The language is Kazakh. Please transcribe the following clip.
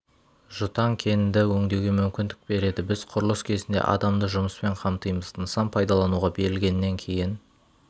жұтаң кенді өңдеуге мүмкіндік береді біз құрылыс кезінде адамды жұмыспен қамтимыз нысан пайдалануға берілгеннен кейін